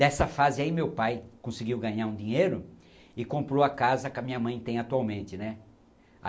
Dessa fase aí meu pai conseguiu ganhar um dinheiro e comprou a casa que a minha mãe tem atualmente, né?